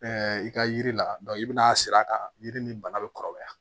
i ka yiri la i bɛna sir'a kan yiri ni bana bɛ kɔrɔbaya